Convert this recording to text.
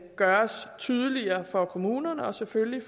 gøres tydeligere for kommunerne og selvfølgelig